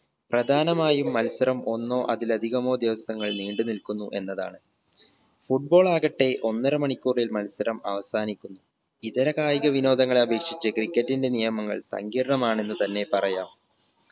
പ്രധാനമായും മത്സരം ഒന്നോ അതിലധികമോ ദിവസങ്ങൾ നീണ്ട് നിൽക്കുന്നു എന്നതാണ് football ആകട്ടെ ഒന്നര മണിക്കൂറിൽ മത്സരം അവസാനിക്കുന്നു ഇതര കായിക വിനോദങ്ങളെ അപേക്ഷിച്ച് cricket ന്റെ നിയമങ്ങൾ സങ്കീർണമാണെന്ന് തന്നെ പറയാം